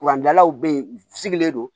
Kuran dalaw bɛ ye u sigilen don